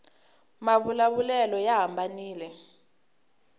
mavula vulelo ya hambanile